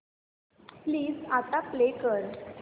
please आता play कर